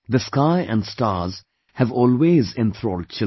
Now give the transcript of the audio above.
The sky and stars have always enthralled children